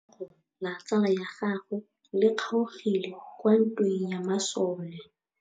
Letsôgô la tsala ya gagwe le kgaogile kwa ntweng ya masole.